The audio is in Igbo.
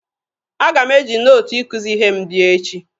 Aga m eji nootu ikuzi ihe m bịa echi